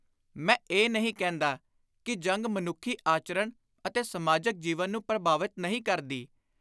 ਮੈਂ ਇਹ ਨਹੀਂ ਕਹਿੰਦਾ ਕਿ ਜੰਗ ਮਨੁੱਖੀ ਆਚਰਣ ਅਤੇ ਸਮਾਜਕ ਜੀਵਨ ਨੂੰ ਪ੍ਰਭਾਵਿਤ ਨਹੀਂ ਕਰਦੀ।